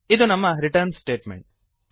ಇದು ನಮ್ಮ return statement